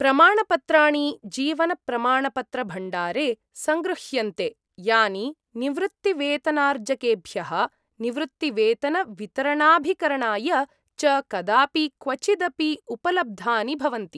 प्रमाणपत्राणि जीवनप्रमाणपत्रभण्डारे संगृह्यन्ते, यानि निवृत्तिवेतनार्जकेभ्यः निवृत्तिवेतनवितरणाभिकरणाय च कदापि क्वचिदपि उपलब्धानि भवन्ति।